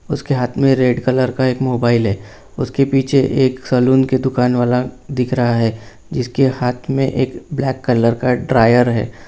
उसके हाथ मे रेड कलर का एक मोबाइल है उसके पीछे एक सलून की दुकानवाला दिख रहा है जिसके हाथ मे एक ब्लैक कलर का ड्रायर है।